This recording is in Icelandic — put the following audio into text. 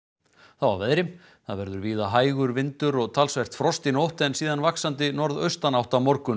þá að veðri það verður víða hægur vindur og talsvert frost í nótt en síðan vaxandi norðaustanátt á morgun